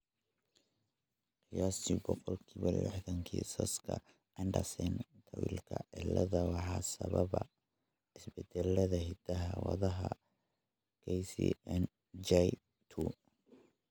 Qiyaastii boqolkibo lixdhaan kiisaska Andersen Tawilka ciladha waxaa sababa isbeddellada hidda-wadaha KCNJ2.